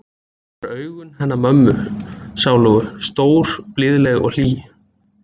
Hann hefur augun hennar mömmu sálugu, stór og blíðleg og hlý.